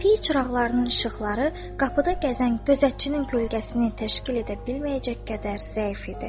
Piy çıraqlarının işıqları qapıda gəzən gözətçinin kölgəsini təşkil edə bilməyəcək qədər zəif idi.